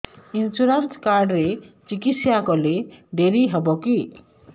insurance card ରେ ଚିକିତ୍ସା କଲେ ଡେରି ହବକି